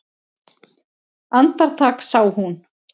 Andartak sá hún